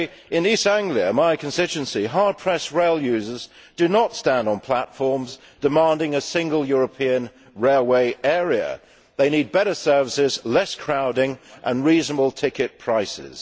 In East Anglia, my constituency, hard pressed rail users do not stand on platforms demanding a single European railway area. They need better services, less crowding and reasonable ticket prices.